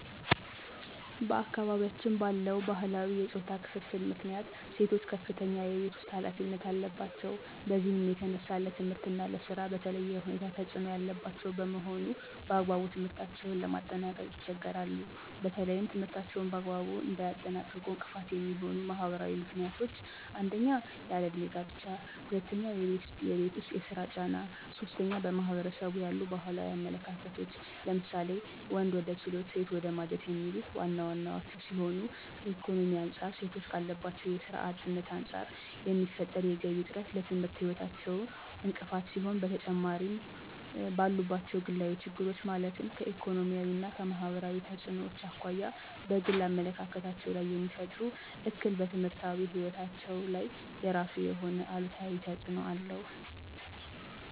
በአካባቢያችን ባለው ባህላዊ የፆታ ክፍፍል ምክንያት ሴቶች ከፍተኛ የቤት ውስጥ ኃላፊነት አለባቸው። በዚህም የተነሳ ለትምህርት እና ለስራ በተለየ ሁኔታ ተፅዕኖ ያለባቸው በመሆኑ በአግባቡ ትምህርታቸውን ለማጠናቀቅ ይቸገራሉ። በተለይም ትምህርታቸውን በአግባቡ እንዳያጠናቅቁ እንቅፋት የሚሆኑ ማህበራዊ ምክንያቶች 1- ያለ እድሜ ጋብቻ 2- የቤት ውስጥ የስራ ጫና 3- በማህበረሰቡ ያሉ ባህላዊ አመለካከቶች ለምሳሌ:- ወንድ ወደ ችሎት ሴት ወደ ማጀት የሚሉት ዋና ዋናወቹ ሲሆኑ ከኢኮኖሚ አንፃር ሴቶች ካለባቸው የስራ አጥነት አንፃር የሚፈጠር የገቢ እጥረት ለትምህርት ህይወታቸው እንቅፋት ሲሆን በተጨማሪምባሉባቸው ግላዊ ችግሮች ማለትም ከኢኮኖሚያዊ እና ማህበራዊ ተፅዕኖዎች አኳያ በግል አመለካከታቸው ላይየሚፈጥረው እክል በትምህርታዊ ህይወታቸው ላይ የራሱ የሆነ አሉታዊ ተፅዕኖ አለው።